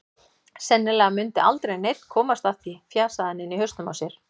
Sennilega mundi aldrei neinn komast að því, fjasaði hann inni í hausnum á sér.